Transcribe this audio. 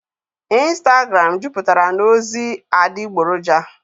ịnstagram juputara na ozi adịgboroja.